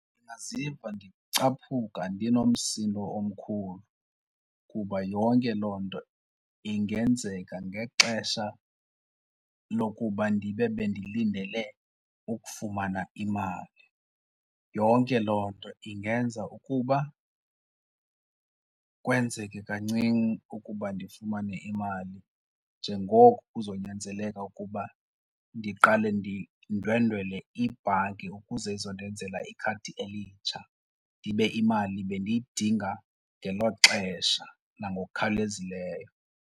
Ndingaziva ndicaphuka ndinomsindo omkhulu kuba yonke loo nto ingenzeka ngexesha lokuba ndibe bendilindele ukufumana imali. Yonke loo nto ingenza ukuba kwenzeke kancinci ukuba ndifumane imali njengoko kuzonyanzeleka ukuba ndiqale ndindwendwele ibhanki ukuze izondenzela ikhadi elitsha ndibe imali bendiyidinga ngelo xesha nangokukhawulezileyo.